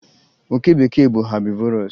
oke bekee bụ herbivorous